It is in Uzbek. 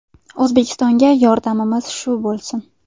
O‘zbekistonga yordamimiz shu bo‘lsin”.